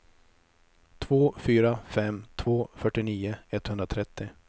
två fyra fem två fyrtionio etthundratrettio